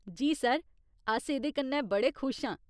जी sir, अस एह्दे कन्नै बड़े खुश आं।